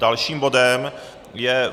Dalším bodem je